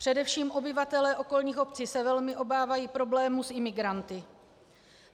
Především obyvatelé okolních obcí se velmi obávají problémů s imigranty.